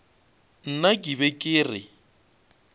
nna ke be ke re